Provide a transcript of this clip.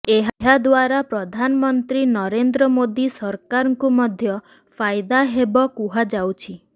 ଏହା ଦ୍ୱାରା ପ୍ରଧାନମନ୍ତ୍ରୀ ନରେନ୍ଦ୍ର ମୋଦି ସରକାରଙ୍କୁ ମଧ୍ୟ ଫାଇଦା ହେବ କୁହାଯାଉଛି